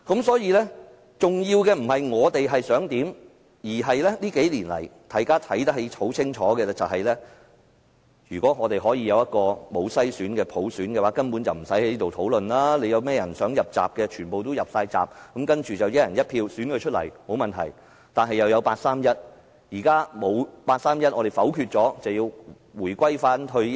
所以，重要的不是我們想怎樣，而是這數年來，大家清楚看到，如果在無篩選的普選下，我們現在根本不用在此辯論，誰想"入閘"便全部都"入閘"，然後經由"一人一票"選舉出來，沒有問題，卻有八三一決定。